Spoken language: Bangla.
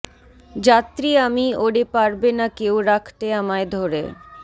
যাত্রী আমি ওরে পারবে না কেউ রাখতে আমায় ধরে